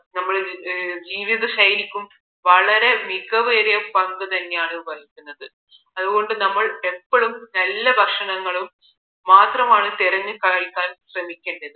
നമ്മുടെ ജീവിത ശൈലിക്കും വളരെ മികവേറിയ പങ്ക് തന്നെയാണ് വഹിക്കുന്നത് അതുകൊണ്ട് ഞങ്ങൾ എപ്പോഴും നല ഭക്ഷണങ്ങളും മാത്രമാണ് തിരഞ്ഞ് കഴിക്കാൻ ശ്രമിക്കേണ്ടത്